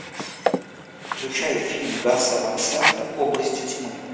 включай фильм гаса ван сента области тьмы